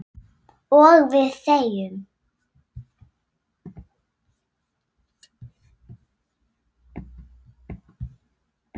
Og við þegjum.